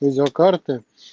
видеокарты